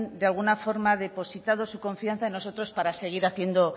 de alguna forma depositado su confianza en nosotros para seguir haciendo